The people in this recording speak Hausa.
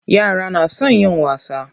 Yara na son yin wasa.